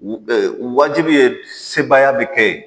wajibi ye sebaya bi kɛ ye